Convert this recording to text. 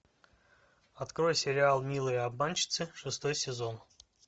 открой сериал милые обманщицы шестой сезон